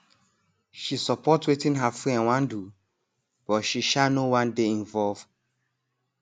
she support wetin her friend wan do but she um no wan dey involve